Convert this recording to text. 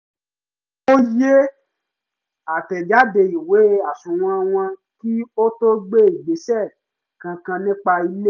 ó yẹ àtẹ́jáde ìwé àsùnwọ̀n wò kí ó to gbé ìgbésẹ̀ kankan nípa ilé